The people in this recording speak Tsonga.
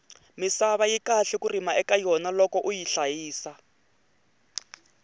misava yi kahle ku rima eka yona loko uyi hlayisa